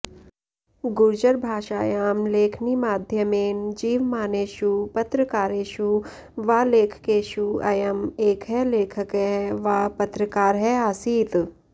गुर्जरभाषायां लेखनीमाध्यमेन जीवमानेषु पत्रकारेषु वा लेखकेषु अयम् एकः लेखकः वा पत्रकारः आसीत्